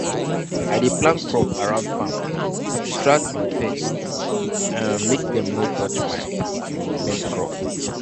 i dey plant crop around farm to distract um pest um make dem no touch my um main crop.